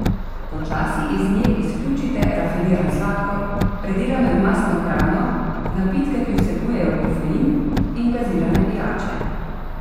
Počasi iz nje izključite rafiniran sladkor, predelano in mastno hrano, napitke, ki vsebujejo kofein, in gazirane pijače.